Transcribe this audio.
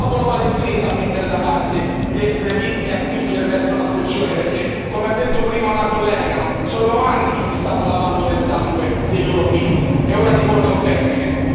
Risolviamo questo problema e sarà lo stesso popolo palestinese a mettere da parte gli estremismi e a spingere verso una soluzione, perché come ha detto prima una collega, sono anni che si stanno lavando nel sangue dei loro figli, è ora di porre un termine.